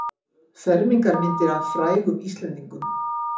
Fermingarmyndir af frægum Íslendingum